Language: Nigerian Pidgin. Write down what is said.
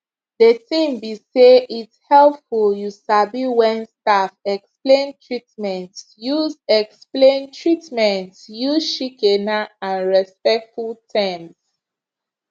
de tin be say its helpful you sabi wen staff explain treatments use explain treatments use shikena and respectful terms